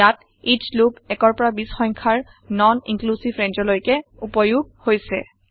ইয়াত এচ লুপ ১ৰ পৰা ২০ৰ সংখ্যাৰ নন ইন্ক্লিউচিভ ৰেঞ্জ লৈকে উপয়োগ হৈছে